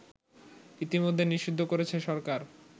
ইতোমধ্যে নিষিদ্ধ করেছে সরকার